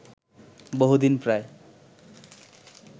বহুদিন প্রায়